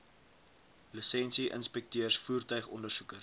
lisensie inspekteurs voertuigondersoekers